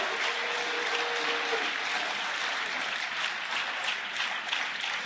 Prego i candidati alla Presidenza di parlare più lentamente